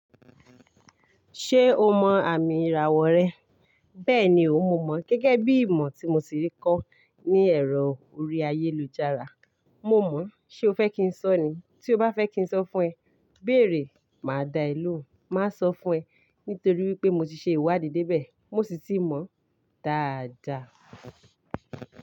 Ṣé o mọ àmì ìràwọ̀ rẹ? Bẹ́ẹ̀ni o, mo mọ̀. Gẹ́gẹ́ bí ìmọ̀ tí mo ti rí kọ́ ní ẹ̀rọ orí ayélujára. Mo mọ̀ o, Ṣé o fẹ́ kí n sọ ní? Tí o bá fẹ́ kí n sọ fún ẹ, béèrè máa da e lohun. Má a sọ fún ẹ nítorí wípé mo ti ṣe ìwádìí débẹ̀. Mo sì ti mọ̀ o. Dáàda.